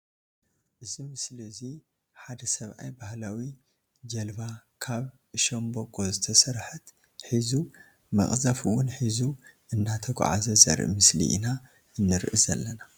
እዚ ምስሊ እዙይ ሓደ ሰብኣይ ባህላዊ ጀልባ ካብ ሻምበቆ ዝተሰርሓት ሒዙ መቅዘፊ እውን ሒዙ እናተጓዓዘ ዘርኢ ምስሊ ኢና ንርኢ ዘለና።